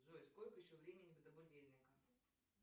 джой сколько еще времени до будильника